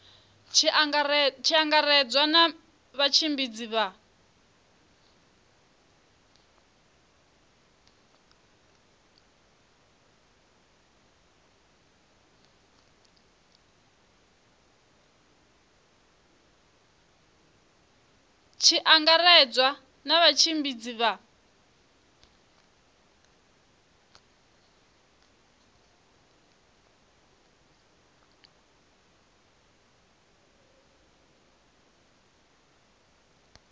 tshi angaredzwa na vhatshimbidzi vha